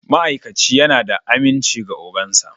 Ma'aikaci yana da aminci ga ogan sa